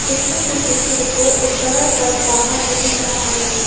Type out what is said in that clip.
मंदिर के पीछे एक बहोत एक बड़ा सा पहाड़ भी दिख रहा है।